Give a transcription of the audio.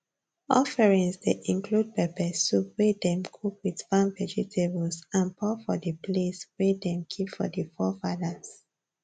offerings dey include pepper soup wey dem cook with farm vegetables and pour for di place way dem keep for di forefathers